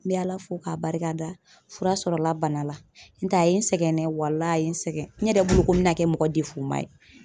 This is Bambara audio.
N bɛ Ala fo k'a barikada fura sɔrɔla bana la, n'o tɛ a ye n sɛgɛn walahi a ye n sɛgɛn n yɛrɛ bolo ko n bɛna na kɛ mɔgɔ ma ye